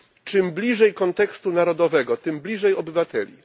Im bliżej kontekstu narodowego, tym bliżej obywateli.